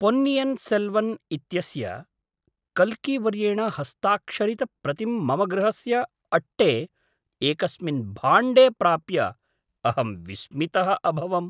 पोन्नियिन् सेल्वन् इत्यस्य कल्कीवर्येण हस्ताक्षरितप्रतिं मम गृहस्य अट्टे एकस्मिन् भाण्डे प्राप्य अहं विस्मितः अभवम्।